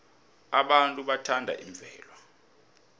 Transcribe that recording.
abantu bathanda imvelo